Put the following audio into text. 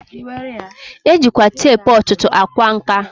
E jikwa teepu ọtụtụ a kwa nka.